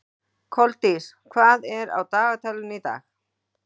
Koldís, hvað er á dagatalinu í dag?